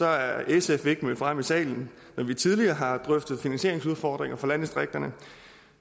er sf ikke mødt frem i salen når vi tidligere har drøftet finansieringsudfordringer for landdistrikterne og